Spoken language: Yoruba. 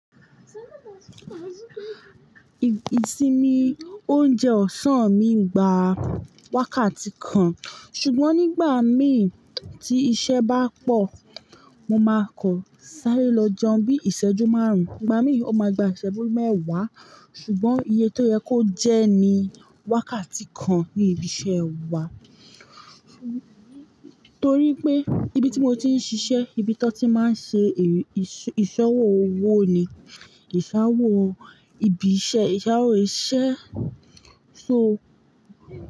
Ìsinmi oúnjẹ ọ̀sán mi ń gba wákàtí kan, ṣùgbọ́n nígbà mí tí iṣẹ́ bá pọ̀, mo máa kọ̀ sáré lọ jẹun bí ìṣẹ́jú márùn-ún, ìgbà mí ò máa gba ìṣẹ́jú mẹ́wàá. Ṣùgbọ́n iye tó yẹ kó jẹ́ ni wákàtí kan ní ibi iṣẹ́ wa. Torí pé ibi tí mo ti ń ṣiṣẹ́, ibi tí wọ́n ti máa ń ṣe ìṣọwọ́ owó ni, ìṣàwọ̀ ibi iṣẹ́, ìṣàwọ̀ iṣẹ́, so.